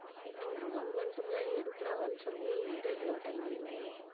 இல்லை ஒரு one month முன்னாடி எடுக்கிறாங்கன்னு சொல்லி interview attend பண்ணேன்.